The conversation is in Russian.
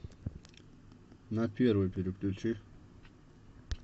на первый переключи